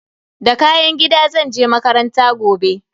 Da kayan gida zan je makaranta gobe.